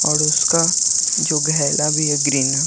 और उसका जो गैहला भी है ग्रीन --